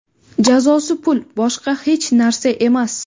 Jazosi pul, boshqa hech narsa emas.